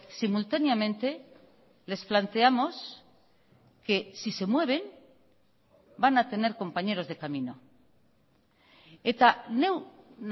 simultáneamente les planteamos que si se mueven van a tener compañeros de camino eta neu